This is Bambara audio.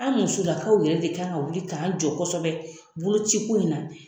An musolakaw yɛrɛ de kan ka wuli k'an jɔ kɔsɔbɛ boloci ko in na.